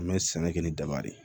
An bɛ sɛnɛ kɛ ni daba de ye